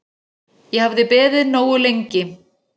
Ég hafði beðið nógu lengi.